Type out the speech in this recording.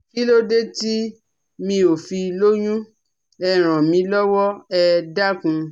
Kílódé tí mi ò fi lóyún ẹ ràn mí lọ́wọ́ ẹ dákun